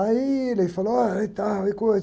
Aí ele falou, olha, e tal, e coisa.